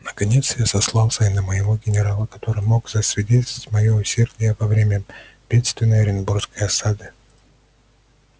наконец я сослался и на моего генерала который мог засвидетельствовать моё усердие во время бедственной оренбургской осады